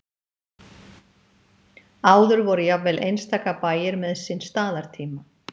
Áður voru jafnvel einstaka bæir með sinn staðartíma.